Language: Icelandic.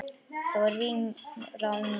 Þar verði rýmra um þær.